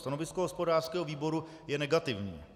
Stanovisko hospodářského výboru je negativní.